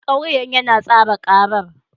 Lauyan yana tsara karar.